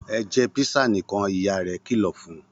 Ẹ jẹ písà nìkan! Ìyá rẹ̀ kìlọ̀ fún un.